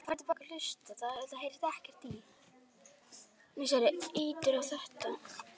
Og svo allt búið.